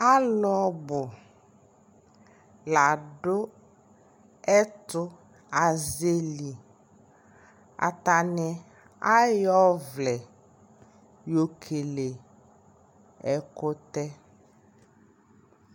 alʋ ɔbʋ ladʋ ɛtʋ azɛli, atani ayɔ ɔvlɛ yɔ kɛlɛ ɛkʋtɛ